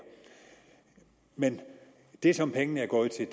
men det som pengene er gået til